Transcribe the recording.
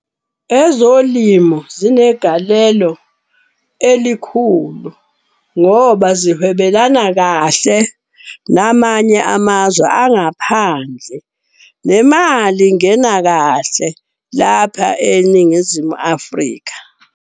Ezolimo zinegalelo elikhulu ngoba zihwebelana kahle namanye amazwe angaphandle. Nemali ingena kahle lapha eNingizimu Afrika.